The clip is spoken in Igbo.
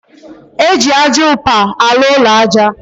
Eji ájá upa alu ụlọ aja